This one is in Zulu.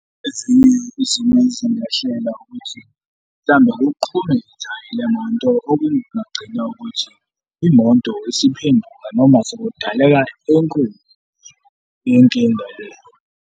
Ezinye izimo ezingehlela ukuthi mhlawumbe kuqhume lemonto okunye kungagcina ukuthi imonto isiphenduka noma sekudaleka enkulu inkinga le.